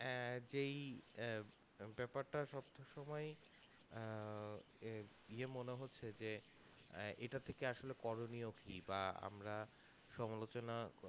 আহ যেই আহ বেপারটা সব সময়ে আহ হয়ে মনে হচ্ছে যে এটার থেকে আসলে করণীয় কি বা আমরা সংলোচনা